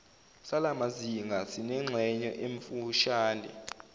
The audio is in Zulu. salamazinga sinengxenye emfushane